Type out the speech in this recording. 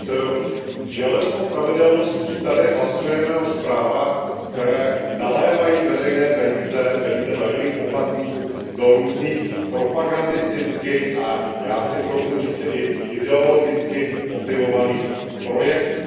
Pane předsedající, s železnou pravidelností tady hlasujeme o zprávách, které nalévají veřejné peníze, peníze daňových poplatníků, do různých propagandisticky a já si troufnu říci i ideologicky motivovaných projektů.